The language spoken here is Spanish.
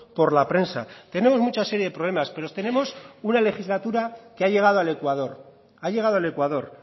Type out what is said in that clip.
por la prensa tenemos mucha serie de problemas pero tenemos una legislatura que ha llegado al ecuador ha llegado el ecuador